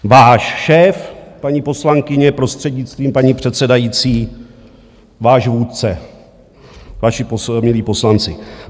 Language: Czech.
Váš šéf, paní poslankyně, prostřednictvím paní předsedající, váš vůdce, vaši milí poslanci.